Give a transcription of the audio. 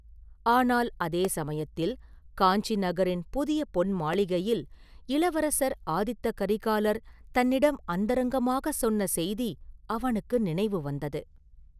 ஆனால் அதே சமயத்தில், காஞ்சி நகரின் புதிய பொன் மாளிகையில் இளவரசர் ஆதித்த கரிகாலர் தன்னிடம் அந்தரங்கமாகச் சொன்ன செய்தி அவனுக்கு நினைவு வந்தது.